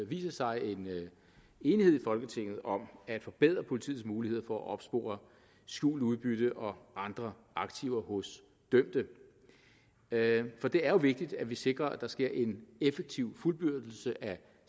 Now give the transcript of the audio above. viser sig en enighed i folketinget om at forbedre politiets muligheder for at opspore skjult udbytte og andre aktiver hos dømte dømte for det er jo vigtigt at vi sikrer at der sker en effektiv fuldbyrdelse af